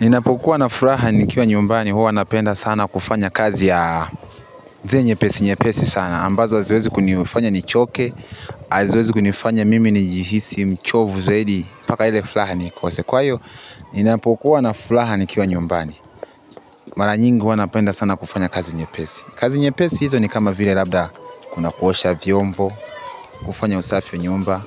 Ninapokuwa na furaha nikiwa nyumbani huwa napenda sana kufanya kazi ya zile nyepesi nyepesi sana ambazo haziwezi kunifanya nichoke, haziwezi kunifanya mimi nijihisi mchovu zaidi mpaka ile furaha nikose kwa hiyo ninapokuwa na furaha nikiwa nyumbani mara nyingi huwa napenda sana kufanya kazi nyepesi kazi nye pesi hizi ni kama vile labda kuna kuosha vyombo, kufanya usafi wa nyumba